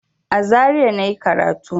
A Zaria na yi karatu.